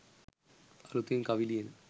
අලුතින් කවි ලියන